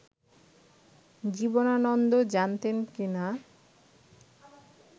জীবনানন্দ জানতেন কি না